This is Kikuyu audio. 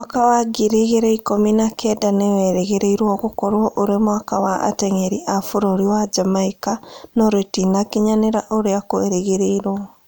Mwaka wa ngiri igĩrĩ ikũmi na kenda nĩwerĩgĩrĩirwo gũkorwo ũrĩ mwaka wa ateng'eri a bũrũri wa Jamaica no rĩtinakinyanĩta ũrĩa kwerĩgĩrĩirwo